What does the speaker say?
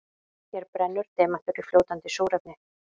Hér brennur demantur í fljótandi súrefni.